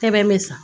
Sɛbɛn bɛ san